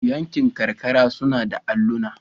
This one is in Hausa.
Yankin karkara suna da alluna.